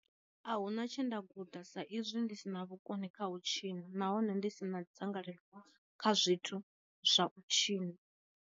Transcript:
A huna tshe nda guda sa izwi ndi sina vhukoni kha u tshina nahone ndi sina dzangalelo kha zwithu zwa u tshina.